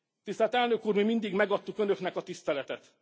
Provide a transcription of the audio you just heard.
Tisztelt Elnök Úr, mi mindig megadtuk Önöknek a tiszteletet.